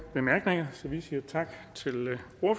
skylder